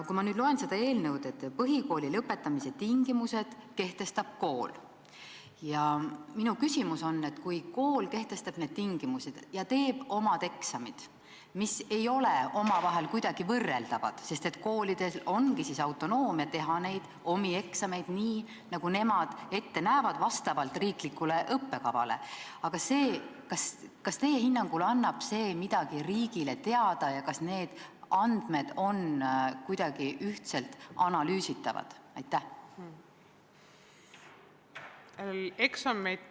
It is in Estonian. Kui ma nüüd loen sellest eelnõust, et põhikooli lõpetamise tingimused kehtestab kool, tekib mul küsimus, et kui kool kehtestab tingimused ja teeb oma eksamid, mis ei ole omavahel kuidagi võrreldavad, sest koolidel ongi sellisel juhul autonoomia teha oma eksameid nii, nagu nemad vastavalt riiklikule õppekavale ette näevad, siis kas teie hinnangul annab see midagi riigile teada ja kas need andmed on kuidagi ühtselt analüüsitavad?